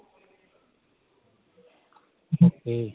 okay